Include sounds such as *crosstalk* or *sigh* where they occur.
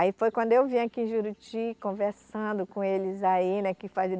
Aí foi quando eu vim aqui em Juruti conversando com eles aí, né? que *unintelligible*